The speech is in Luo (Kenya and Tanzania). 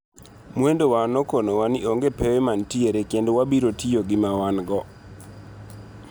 Mwendwa nokono wa ni onge pewe manitiere kendo wabiro tiyo gi mawango